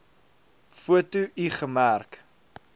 foto l gemerk